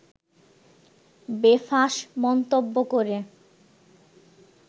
বেফাঁস মন্তব্য করে